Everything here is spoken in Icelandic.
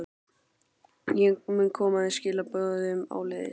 Ég mun koma þeim skilaboðum áleiðis.